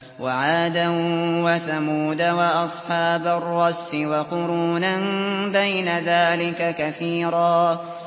وَعَادًا وَثَمُودَ وَأَصْحَابَ الرَّسِّ وَقُرُونًا بَيْنَ ذَٰلِكَ كَثِيرًا